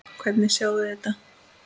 Hvernig sjáið þið þetta?